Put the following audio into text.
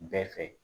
Bɛɛ fɛ